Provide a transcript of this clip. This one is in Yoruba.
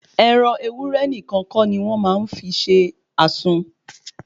Ẹran ewúré nìkan kọ́ ni wọ́n máa ń fi ṣe àsun